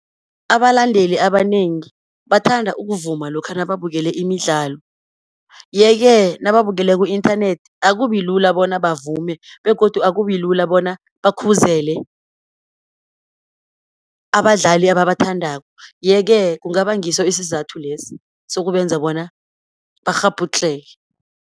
Abalandeli abanengi, bathanda ukuvuma lokha nababukele imidlalo. Ye-ke nababukele ku-inthanethi akubilula bona bavume, begodu akubi lula bona bakhuzele abadlali ababathandako. Ye-ke kungaba ngiso isizathu lesi, sokubenza bona bakghabhudlheke.